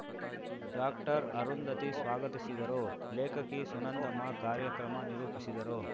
ಡಾಕ್ಟರ್ಅರುಂಧತಿ ಸ್ವಾಗತಿಸಿದರು ಲೇಖಕಿ ಸುನಂದಮ್ಮ ಕಾರ್ಯಕ್ರಮ ನಿರೂಪಿಸಿದರು